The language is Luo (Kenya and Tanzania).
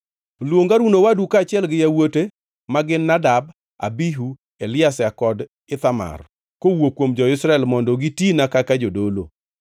“Luong Harun owadu kaachiel gi yawuote ma gin Nadab, Abihu, Eliazar kod Ithamar kowuok kuom jo-Israel mondo gitina kaka jodolo.